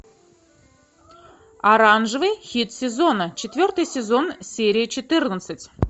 оранжевый хит сезона четвертый сезон серия четырнадцать